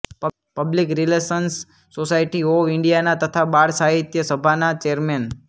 public relations society of ઇન્ડિયાના તથા બાળસાહિત્ય સભાના ચૅરમેન